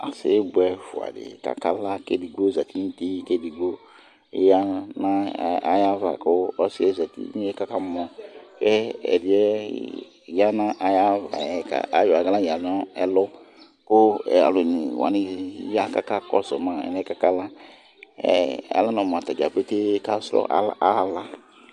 Ɔsi bʋɛ ɛfʋɛɖi kakala Ɛɖigbo zɛti ŋu ʋti kʋ ɛɖigbo ya ŋu ayʋ ava kʋ ɔsiɛ zɛti kʋ ɔkamɔ Ɛɖìɛ ya ŋu ayʋ ava ayɔ aɣla ya ŋu ɛlu kʋ alu ɔne waŋi aya kakɔsuma alɛ bʋakʋ akala Alɛno mu atadza pete kasrɔ ala